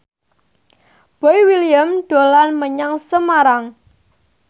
Boy William dolan menyang Semarang